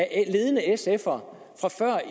ser for